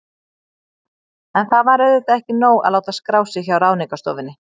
En það var auðvitað ekki nóg að láta skrá sig hjá Ráðningarstofunni.